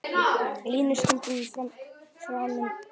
Línu stundum framinn á.